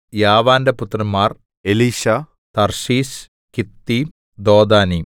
യാവാന്റെ പുത്രന്മാർ Elishah Tarshish Kittim Dodanim